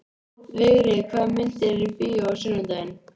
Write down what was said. Vigri, hvaða myndir eru í bíó á sunnudaginn?